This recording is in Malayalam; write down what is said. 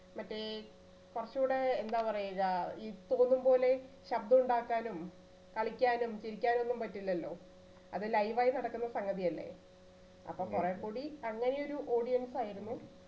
മറ്റേ കൊറച്ചു കൂടെ എന്താ പറയുക തോന്നും പോലെ ശബ്ദം ഉണ്ടാക്കാനും കളിക്കാനും ചിരിക്കാനും ഒന്നും പറ്റില്ലല്ലോ അത് live ആയി നടക്കുന്ന സംഗതിയല്ലേ അപ്പൊ കൊറേ കൂടി അങ്ങനെ ഒരു audience ആയിരുന്നു